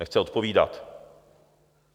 Nechce odpovídat.